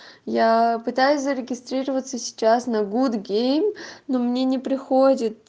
я пытаюсь зарегистрироваться сейчас на гуд гейм но мне не приходит